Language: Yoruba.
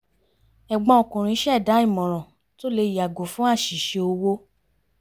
ẹ̀gbọ́n ọkùnrin ṣẹ̀dá ìmòràn tó lè yàgò fún àṣìṣe owó